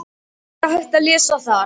Líka er hægt að lesa þar